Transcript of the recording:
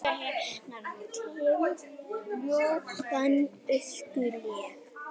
Augu hennar dimm, ljómandi, óskiljanleg.